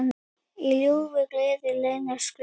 Í ljúfu geði leynist glóð.